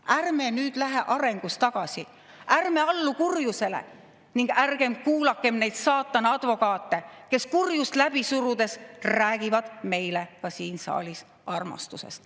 Ärme nüüd lähme arengus tagasi, ärme allume kurjusele ning ärme kuulame neid saatana advokaate, kes kurjust läbi surudes räägivad meile ka siin saalis armastusest.